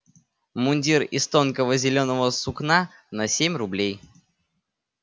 мундир из тонкого зелёного сукна на семь рублей